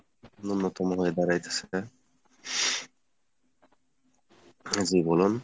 নূন্যতম হয়ে দাঁড়াইতেছে , জি বলুন।